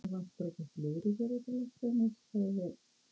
Það vantar ekki slúðrið hér úti á landsbyggðinni sagði